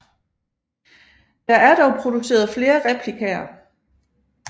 Der er dog produceret flere replikaer